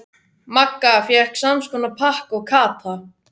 Magga fékk samskonar pakka og Kata.